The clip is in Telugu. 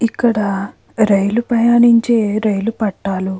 ఇక్కడ రైలు ప్రయాణించే నుంచి రైలు పట్టాలు --